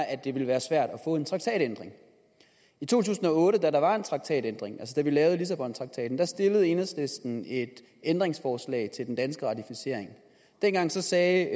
at det vil være svært at få en traktatændring i to tusind og otte da der var en traktatændring altså da vi lavede lissabontraktaten stillede enhedslisten et ændringsforslag til den danske ratificering dengang sagde